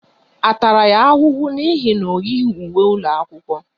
A tara ya ahụhụ n'ihi na o yighi uwe ụlọ akwụkwọ?